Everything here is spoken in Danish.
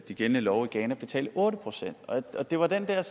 de gældende love i ghana betale otte procent det var den der